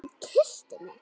Hún kyssti mig!